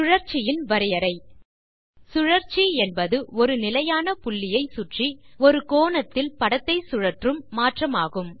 சுழற்சியின் வரையறை சுழற்சி என்பது ஒரு நிலையான புள்ளியை சுற்றி ஒரு கோணத்தில் படத்தை சுழற்றும் மாற்றமாகும்